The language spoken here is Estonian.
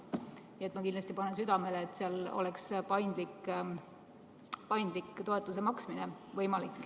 Nii et ma kindlasti panen südamele, et seal oleks võimalik paindlik toetuse maksmine.